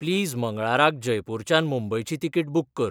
please मंगळाराक जयपुराच्यान मुंबयची तिकीट बूक कर